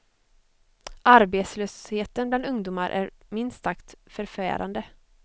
Arbetslösheten bland ungdomar är minst sagt förfärande.